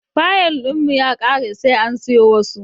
Fayil ɗin mu ya kare sai an siyo wasu.